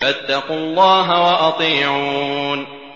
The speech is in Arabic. فَاتَّقُوا اللَّهَ وَأَطِيعُونِ